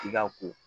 I ka ko